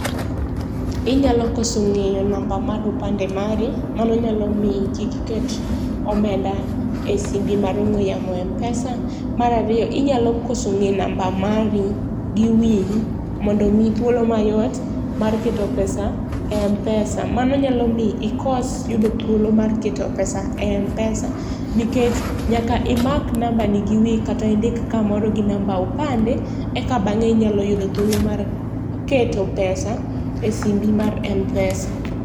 Inyalo koso ngeyo namba mar opande mari mano nyalo miyi kik iket omenda e simbi mar ongwe yamo e Mpesa, mar ariyo inyalo koso ngeyo namba mari gi wiyi mondo omiyi thuolo mayot mar keto pesa e Mpesa, mano nyalo mi ikos yudo thuolo mar keto pesa e Mpesa nikech nyaka imak nambani gi wiyi kata indik kamoro gi namba opande eka bange inyalo yudo thuolo mar keto pesa e simbi mar Mpesa